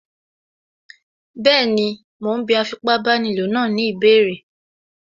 Bẹ́ẹ̀ni, mo ún bí afipábanílòpọ̀ náà ní ìbéèrè